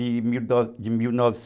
De de mil novecentos